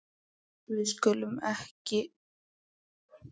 við skulum ekki skyrinu öllu